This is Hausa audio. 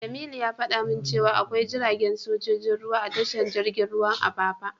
Jamilu ya fada min cewa akwai jiragen sojojin ruwa a tashar jirgin ruwan Apapa.